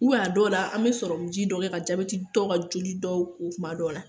a dɔw la , an bɛ sɔrɔmu ji dɔ kɛ ka jabɛti dɔ ka joli dɔw ko kuma dɔw la